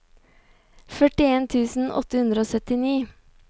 førtien tusen åtte hundre og syttini